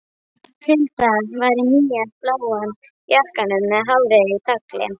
Hulda var í nýja bláa jakkanum með hárið í tagli.